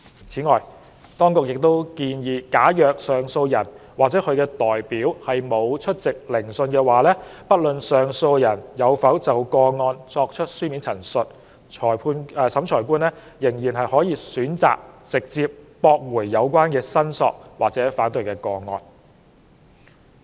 此外，當局亦建議假如上訴人或其代表沒有出席聆訊，不論上訴人有否就個案作出書面申述，審裁官可選擇直接駁回有關申索或反對個案。